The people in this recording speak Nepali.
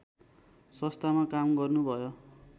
संस्थामा काम गर्नुभयो।